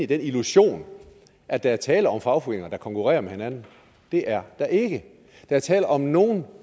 den illusion at der er tale om fagforeninger der konkurrerer med hinanden det er der ikke der er tale om at nogle